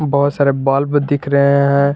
बहुत सारे बल्ब दिख रहे हैं।